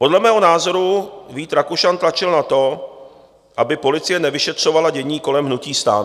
Podle mého názoru Vít Rakušan tlačil na to, aby policie nevyšetřovala dění kolem hnutí STAN.